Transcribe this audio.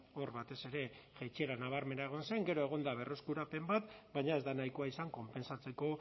hor batez ere jaitsiera nabarmena egon zen gero egon da berreskurapen bat baina ez da nahikoa izan konpentsatzeko